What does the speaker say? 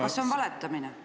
Kas see on valetamine?